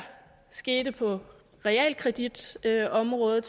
skete på realkreditområdet